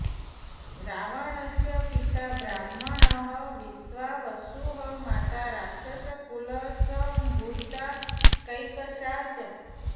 रावणस्य पिता ब्राह्मणः विश्वावसुः माता राक्षसकुलसम्भूता कैकसा च